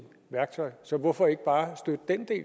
værktøj så hvorfor ikke bare støtte den